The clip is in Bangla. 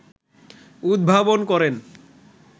উদ্ভাবন করেন